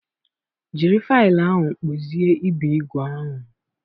Jiri faịlụ ahụ kpụzie ibe igwe ahụ.